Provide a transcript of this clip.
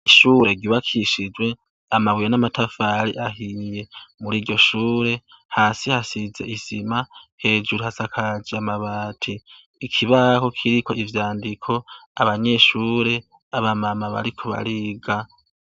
Ishure ryubakishijwe amabuye n'amatafari ahiye. Muri iryo shure hasi hasize isima hejuru hasakaje amabati. Ikibaho kiriko ivyandiko abanyeshure, abamama bariko bariga.